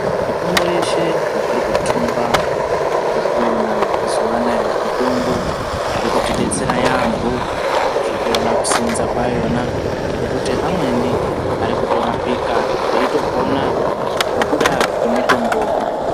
Mitombo yeshe yatiri kuthumba nekuona mazuwa anaya ,mitombo iri kutidetsera yaampho. Tiri kuona kuseenza kwayona, ngekuti amweni ari kutorapika, eitopona ,ngekuda kwemitombo.